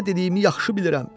Nə dediyimi yaxşı bilirəm.